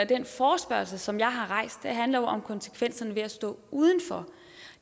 den forespørgsel som jeg har rejst handler jo om konsekvenserne ved at stå udenfor og